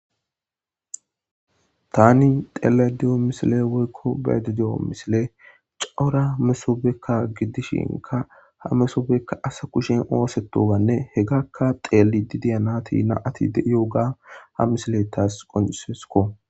Tani dele diyo misile woykko bayede di7'o misile cauura mesoobekka gidishinka ha mesoobekka asa kushin oosetowanne hegakka xeeli didiyanati na ati deioga ha misile taas qonisesko.